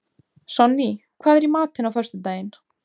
Sonný, hvað er í matinn á föstudaginn?